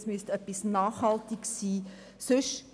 Es müsste etwas Nachhaltiges sein.